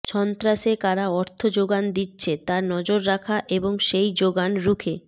সন্ত্রাসে কারা অর্থ জোগান দিচ্ছে তা নজর রাখা এবং সেই জোগান রুখে